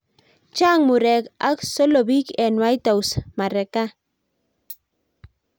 chaang murek ak solobik eng white house marekan